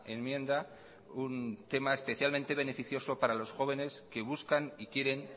enmienda un tema especialmente beneficioso para los jóvenes que buscan y quieren